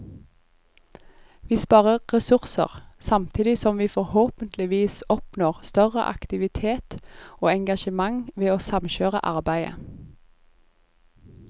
Vi sparer ressurser, samtidig som vi forhåpentligvis oppnår større aktivitet og engasjement ved å samkjøre arbeidet.